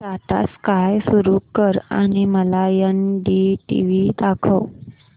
Tata sky सुरू कर आणि मला एनडीटीव्ही दाखव